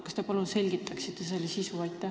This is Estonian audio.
Kas te palun selgitaksite asja sisu?